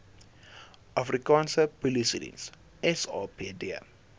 afrikaanse polisiediens sapd